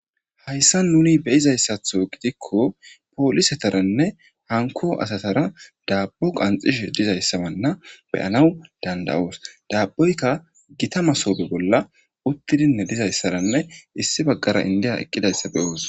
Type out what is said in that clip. hayssa nuni beyizayssatho gidikko poolisetaranne hanko asatara daabbo qanxish dizayssabanna beyanaw danda7oos daabboyka gita masoobe bolla uttidinne dizayssaranne issi baggara indiya eqqidayssa beyoos